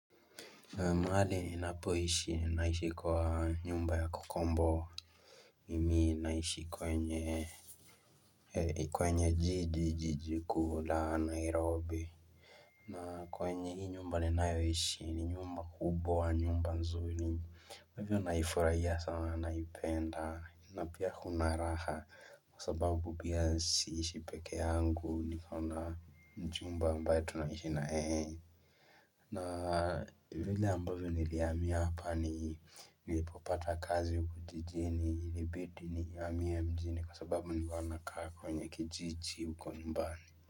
Mahali ni napoishi ni naishi kwa nyumba ya kukomboa Mimi naishi kwenye kwenye jiji, jiji kuu la Nairobi na kwenye hii nyumba ni nayoishi ni nyumba kubwa wa nyumba nzuri kwa hivyo naifurahiaa sana naipenda na pia kunaraha kwa sababu pia siishi pekee yangu niko na mchumba ambaye tunaishi na yeye. Na vile ambavyo nilihamia hapa ni nilipopata kazi huku jijini, ilibidi ni hamie mjini kwa sababu nilikuwa nakaa kwenye kijiji huko nyumbani.